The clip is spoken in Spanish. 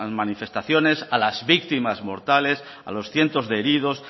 manifestaciones a las víctimas mortales a los cientos de heridos